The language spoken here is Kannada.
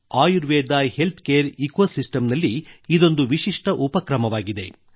ಆಯುರ್ವೇದ ಹೆಲ್ತ್ ಕೇರ್ ಇಕೊಸಿಸ್ಟಂನಲ್ಲಿ ಇದೊಂದು ವಿಶಿಷ್ಟ ಉಪಕ್ರಮವಾಗಿದೆ